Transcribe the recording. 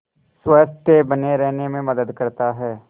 स्वस्थ्य बने रहने में मदद करता है